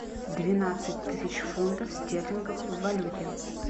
двенадцать тысяч фунтов стерлингов в валюте